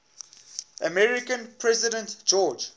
american president george